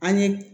An ye